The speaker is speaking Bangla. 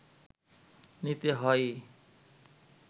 নিতে হয়ই